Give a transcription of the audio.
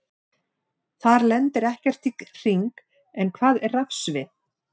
Þar lendir ekkert í hring, en hvað er rafsvið?